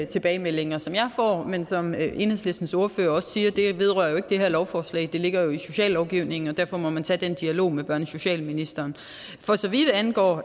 tilbagemeldinger som jeg får men som enhedslistens ordfører også siger vedrører det ikke det her lovforslag det ligger jo i sociallovgivningen og derfor må man tage den dialog med børne og socialministeren for så vidt angår